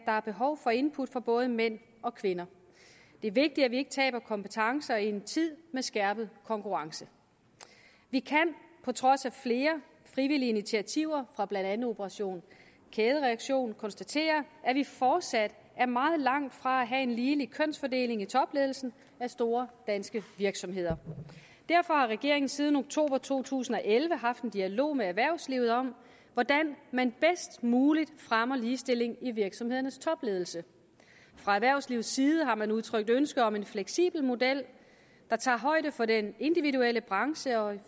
er behov for input fra både mænd og kvinder det er vigtigt at vi ikke taber kompetencer i en tid med skærpet konkurrence vi kan på trods af flere frivillige initiativer fra blandt andet operation kædereaktion konstatere at vi fortsat er meget langt fra at have en ligelig kønsfordeling i topledelsen af store danske virksomheder derfor har regeringen siden oktober to tusind og elleve haft en dialog med erhvervslivet om hvordan man bedst muligt fremmer ligestilling i virksomhedernes topledelse fra erhvervslivets side har man udtrykt ønske om en fleksibel model der tager højde for den individuelle branche og